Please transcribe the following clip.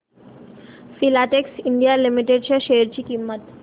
Filatex India Limited च्या share ची किंमत